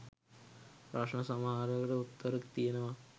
ප්‍රශ්න සමහරකට උත්තර තියනවා